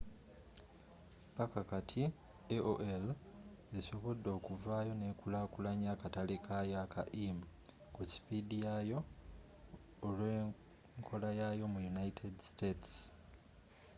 paka kati, aol esobodde okuvaayo nekulakulanya akatale kayo aka im ku sipiidi yayo olw’enkolayaayo mu united states